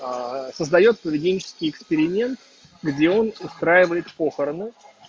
создаёт поведенческий эксперимент где он устраивает похороны